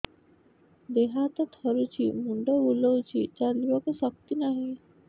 ଦେହ ହାତ ଥରୁଛି ମୁଣ୍ଡ ବୁଲଉଛି ଚାଲିବାକୁ ଶକ୍ତି ନାହିଁ